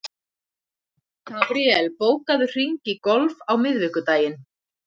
Gabríel, bókaðu hring í golf á miðvikudaginn.